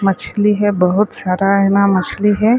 मछली हे बहुत ज्यादा ना मछली हे।